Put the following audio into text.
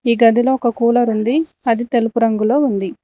ఈ గదిలో ఒక కూలర్ ఉంది అది తెలుపు రంగులో ఉంది.